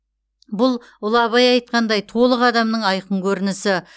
бұл ұлы абай айтқандай толық адамның айқын көрінісі